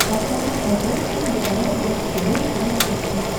поставь на смотрешке телеканал бридж тв русский хит